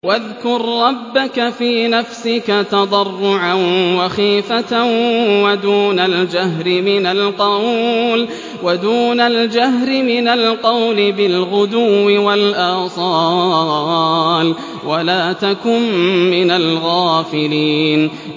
وَاذْكُر رَّبَّكَ فِي نَفْسِكَ تَضَرُّعًا وَخِيفَةً وَدُونَ الْجَهْرِ مِنَ الْقَوْلِ بِالْغُدُوِّ وَالْآصَالِ وَلَا تَكُن مِّنَ الْغَافِلِينَ